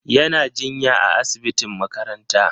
Yana jinya a asibitin makaranta.